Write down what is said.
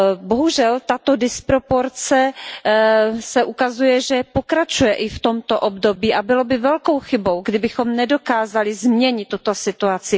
Bohužel tato disproporce se ukazuje, že pokračuje i v tomto období, a bylo by velkou chybou, kdybychom nedokázali změnit tuto situaci.